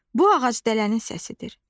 Bu ağac dələnin səsidir.